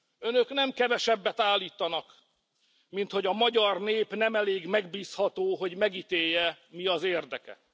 Önök nem kevesebbet állítanak, mint hogy a magyar nép nem elég megbízható, hogy megítélje, mi az érdeke.